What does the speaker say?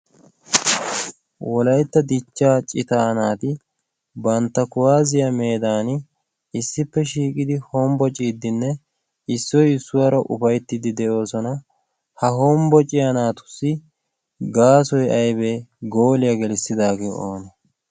wolaytta dichchaa citaanaati bantta kuwaaziyaa meedan issippe shiiqidi hombbo ciiddinne issoy issuwaara ufayttiddi de'oosona ha hombbo ciyanaatussi gaasoy aybee gooliyaa gelissidaagee oona?